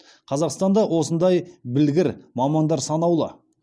қазақстанда осындай білгір мамандар санаулы